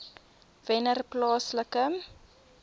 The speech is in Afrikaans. wennerplaaslike